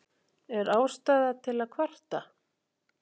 Er ástæða til að kvarta?